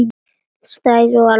Strætó var alveg að koma.